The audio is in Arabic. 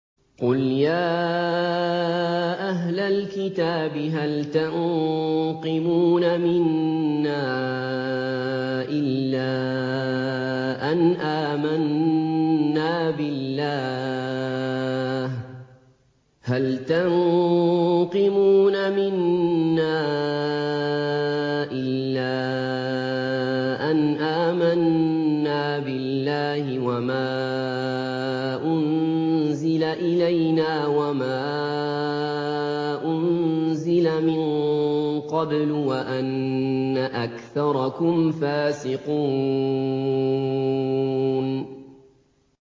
قُلْ يَا أَهْلَ الْكِتَابِ هَلْ تَنقِمُونَ مِنَّا إِلَّا أَنْ آمَنَّا بِاللَّهِ وَمَا أُنزِلَ إِلَيْنَا وَمَا أُنزِلَ مِن قَبْلُ وَأَنَّ أَكْثَرَكُمْ فَاسِقُونَ